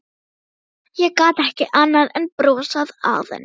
Ég gat ekki annað en brosað að henni.